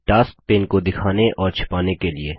task pane को दिखाने और छिपाने के लिए